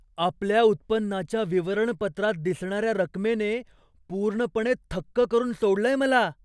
आपल्या उत्पन्नाच्या विवरणपत्रात दिसणाऱ्या रकमेने पूर्णपणे थक्क करून सोडलंय मला.